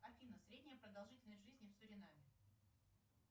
афина средняя продолжительность жизни в суринаме